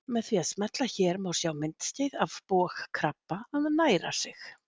Með því að smella hér má sjá myndskeið af bogkrabba að næra sig.